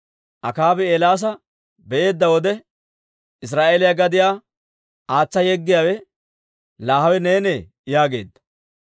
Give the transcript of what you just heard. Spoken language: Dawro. Akaabi Eelaasa be'eedda wode, «Israa'eeliyaa gadiyaa aatsa yeggiyaawe, laa hawe neenee?» yaageedda.